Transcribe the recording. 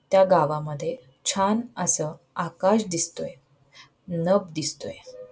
त्या गावामध्ये छान अस आकाश दिसतोय नभ दिसतोय.